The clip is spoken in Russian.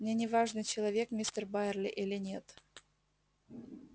мне не важно человек мистер байерли или нет